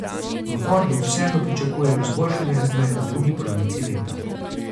V Fordu vseeno pričakujejo izboljšanje razmer v drugi polovici leta.